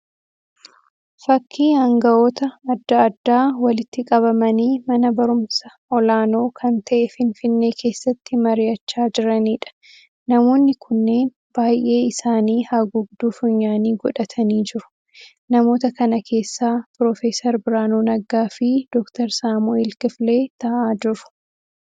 Fakkii hanga'oota adda addaa walitti qabamanii mana barumsa olaanoo kan ta'e Finfinnee keessatti mari'achaa jiraniidha. Namoonni kunneen baay'ee isaanii haguugduu funyaanii godhatanii jiru. Namoota kana keessa Pro. Biraanuu Naggaa fi Dr. Saamu'eel Kifilee ta'aa jiru.